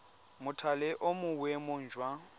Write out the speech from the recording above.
mothale o mo boemong jwa